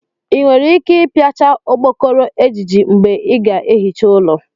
i nwere ike ipiachá okpokoro ejiji mgbe i ga-ehicha ụlọ?